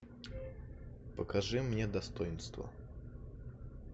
покажи мне достоинство